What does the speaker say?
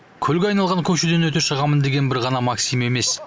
көлге айналған көшеден өте шығамын деген бір ғана максим емес